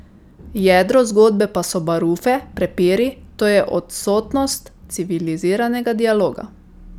Jedro zgodbe pa so barufe, prepiri, to je odsotnost civiliziranega dialoga.